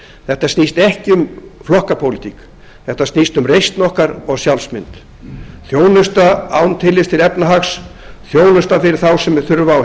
þetta snýst ekki um flokkapólitík þetta snýst um reisn okkar og sjálfsmynd þjónusta án tillits til efnahags þjónusta fyrir þá sem þurfa á